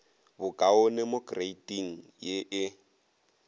bokaone mo kreiting ye e